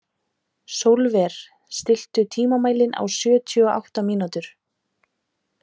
Sólver, stilltu tímamælinn á sjötíu og átta mínútur.